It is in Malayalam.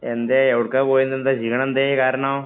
എന്തേ? എവിടേക്കാ പോയിരുന്നേ. ക്ഷീണം എന്തിനു കാരണം?